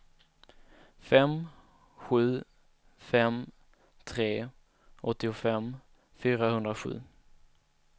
fem sju fem tre åttiofem fyrahundrasju